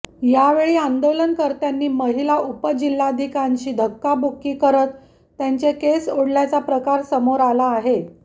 यावेळी आंदोलनकर्त्यांनी महिला उपजिल्हाधिकांशी धक्काबुक्की करत त्यांचे केस ओढल्याचा प्रकार समोर आला आहे